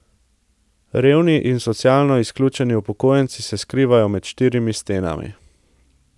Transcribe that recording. Revni in socialno izključeni upokojenci se skrivajo med štirimi stenami.